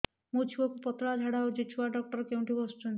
ମୋ ଛୁଆକୁ ପତଳା ଝାଡ଼ା ହେଉଛି ଛୁଆ ଡକ୍ଟର କେଉଁଠି ବସୁଛନ୍ତି